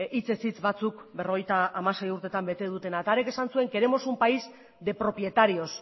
hitzez hitz batzuk berrogeita hamasei urtetan bete dutena eta hark esan zuen queremos un país de propietarios